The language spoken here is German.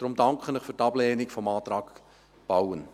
Deswegen danke ich Ihnen für die Ablehnung des Antrags Bauen.